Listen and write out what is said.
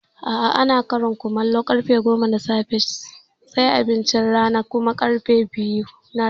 A'a, ana Ƙarin kumallu karfe goman safe sai abincin rana kuma ƙarfe biyun rana